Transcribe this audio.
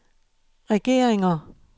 regeringer